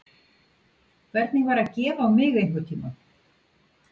Hvernig væri að gefa á mig einhvern tímann?